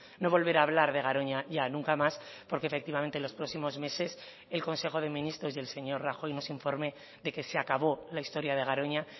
no volverá a hablar de garoña ya nunca más porque efectivamente los próximos meses el consejo de ministros y el señor rajoy nos informe de que se acabó la historia de garoña